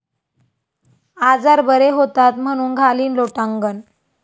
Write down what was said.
आजार बरे होतात म्हणून घालीन लोटांगण...